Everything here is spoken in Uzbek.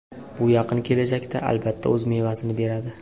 Bu yaqin kelajakda albatta o‘z mevasini beradi.